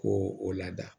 Ko o lada